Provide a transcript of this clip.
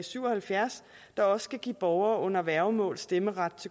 syv og halvfjerds der også skal give borgere under værgemål stemmeret